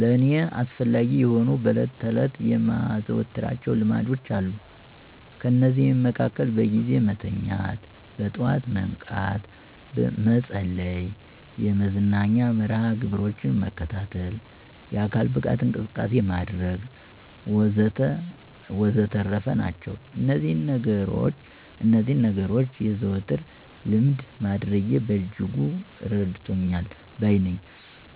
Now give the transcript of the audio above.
ለእኔ አስፈላጊ የሆኑ በዕለት ተዕለት የማዘወትራቸው ልማዶች አሉ። ከነዚህም መሀከል በጊዜ መተኛት፣ በጠዋት መንቃት፣ መጸለይ፣ የመዝናኛ መርሀ ግብሮችን መከታተል፣ የአካል ብቃት እንቅስቃሴ ማድረግ ወዘተረፈ ናቸው። እነዚህን ነገኖች የዘወትር ልምድ ማድረጌ በእጅጉ እረድቶኛል ባይ ነኘ።